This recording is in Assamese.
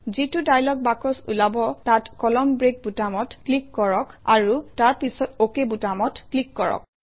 যিটো ডায়লগ বাকচ ওলাব তাত কলামন ব্ৰেক বুটামত ক্লিক কৰক আৰু তাৰ পাছত অক বুটামত ক্লিক কৰক